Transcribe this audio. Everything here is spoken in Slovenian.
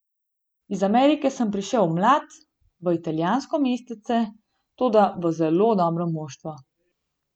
Iz Amerike sem prišel mlad v italijansko mestece, toda v zelo dobro moštvo.